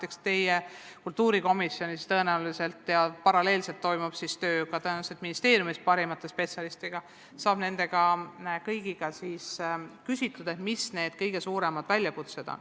Eks teie kultuurikomisjonis saate seda arutada ja paralleelselt toimub töö tõenäoliselt ka ministeeriumis parimate spetsialistidega, kelle kõigi käest saab küsitud, et millised on kõige suuremad väljakutsed.